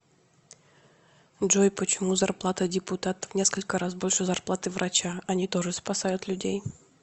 джой почему зарплата депутата в несколько раз больше зарплаты врача они тоже спасают людей